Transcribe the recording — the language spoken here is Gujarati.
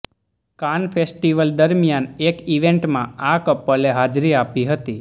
કાન ફેસ્ટિવલ દરમિયાન એક ઈવેન્ટમાં આ કપલે હાજરી આપી હતી